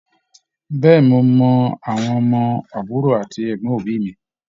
Bẹ̀ẹ́ni, mo mọ àwọn ọmọ àbúrò àti ẹgbọn òbí mí.